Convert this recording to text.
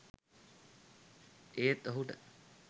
ඒත් ඔහුට